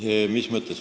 Mis mõttes?